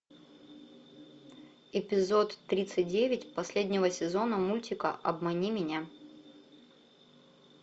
эпизод тридцать девять последнего сезона мультика обмани меня